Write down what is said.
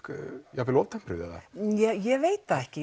jafnvel of tempruð eða ég veit það ekki